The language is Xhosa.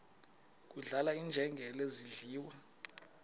kudlala iinjengele zidliwa